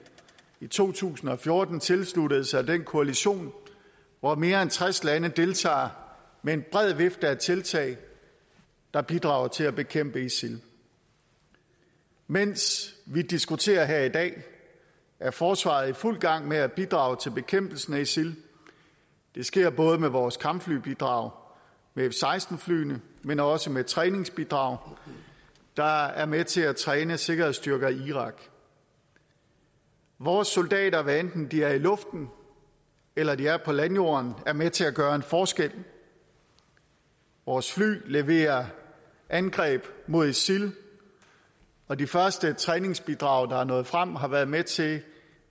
i to tusind og fjorten tilsluttede sig den koalition hvor mere end tres lande deltager med en bred vifte af tiltag der bidrager til at bekæmpe isil mens vi diskuterer her i dag er forsvaret i fuld gang med at bidrage til bekæmpelsen af isil det sker både med vores kampflybidrag med f seksten flyene men også med træningsbidrag der er med til at træne sikkerhedsstyrker i irak vores soldater hvad enten de er i luften eller de er på landjorden er med til at gøre en forskel vores fly leverer angreb mod isil og de første træningsbidrag der er nået frem har været med til